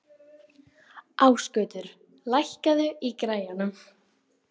Ásgautur, lækkaðu í græjunum.